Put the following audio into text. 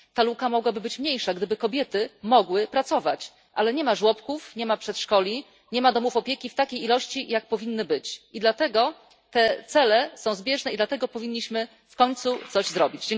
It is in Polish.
Ta luka mogłaby być mniejsza, gdyby kobiety mogły pracować, ale nie ma żłobków, nie ma przedszkoli, nie ma domów opieki w takiej ilości, w jakiej powinny być, i dlatego te cele są zbieżne i dlatego powinniśmy w końcu coś zrobić.